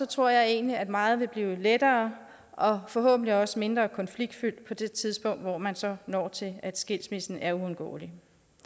tror jeg egentlig at meget vil blive lettere og forhåbentlig også mindre konfliktfyldt på det tidspunkt hvor man så når til at skilsmissen er uundgåelig